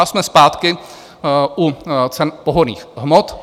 A jsme zpátky u cen pohonných hmot.